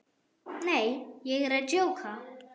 Nei, ég er að djóka.